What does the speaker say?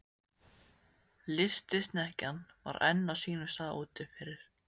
Lystisnekkjan var enn á sínum stað úti fyrir.